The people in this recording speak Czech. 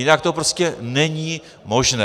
Jinak to prostě není možné.